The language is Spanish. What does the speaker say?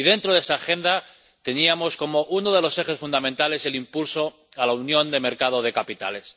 Y dentro de esa agenda, teníamos como uno de los ejes fundamentales el impulso de la Unión de Mercados de Capitales.